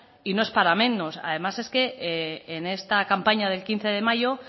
y no es para menos además es que en esta campaña del quince de mayo